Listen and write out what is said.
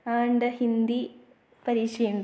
ആ ഉണ്ട്. ഹിന്ദി പരീക്ഷയുണ്ട്.